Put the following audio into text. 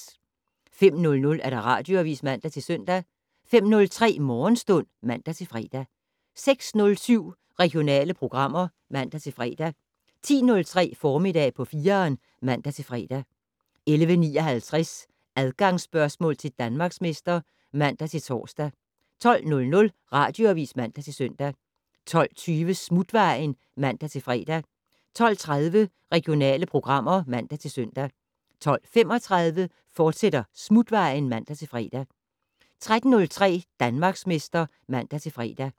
05:00: Radioavis (man-søn) 05:03: Morgenstund (man-fre) 06:07: Regionale programmer (man-fre) 10:03: Formiddag på 4'eren (man-fre) 11:59: Adgangsspørgsmål til Danmarksmester (man-tor) 12:00: Radioavis (man-søn) 12:20: Smutvejen (man-fre) 12:30: Regionale programmer (man-søn) 12:35: Smutvejen, fortsat (man-fre) 13:03: Danmarksmester (man-fre)